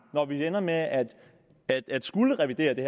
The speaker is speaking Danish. når vi ender med at at skulle revidere det